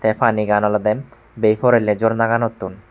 panigan olodey bey porelli jornaganottun.